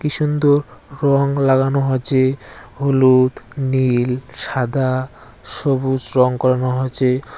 কি সুন্দর রং লাগানো আছে হলুদ নীল সাদা সবুজ রং করানো হছে।